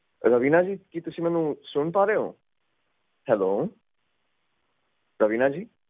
ਰਵੀਨਾ ਜੀ ਕੀ ਤੁਸੀਂ ਮੈਨੂੰ ਸੁਨ ਪਾ ਰਹੇ ਓ ਹੈਲੋ ਰਵੀਨਾ ਜੀ